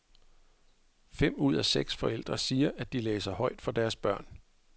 Fem ud af seks forældre siger, at de læser højt for deres børn.